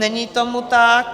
Není tomu tak.